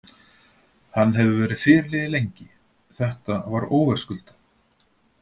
Hann hefur verið fyrirliði lengi, þetta var óverðskuldað.